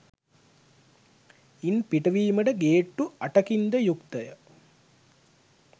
ඉන් පිටවීමට ගේට්‌ටු අටකින්ද යුක්‌තය